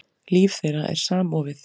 Líf þeirra er samofið.